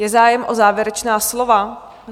Je zájem o závěrečná slova?